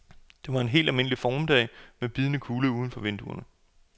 Det var en helt almindelig formiddag med bidende kulde uden for vinduerne